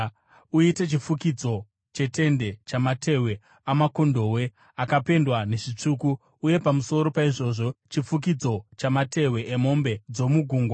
Uite chifukidzo chetende chamatehwe amakondobwe akapendwa nezvitsvuku, uye pamusoro paizvozvo chifukidzo chamatehwe emombe dzomugungwa.